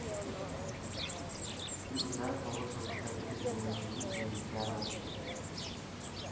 феруза тоғыз жылдықты бітіргеннен кейін еңбекке араласып кетті